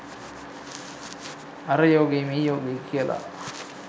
අර යෝගෙයි මේ යෝගෙයි කියලා